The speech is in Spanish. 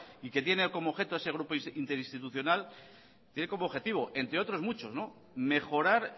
y que tiene como objeto ese grupo interinstitucional tiene como objetivo entre otros muchos mejorar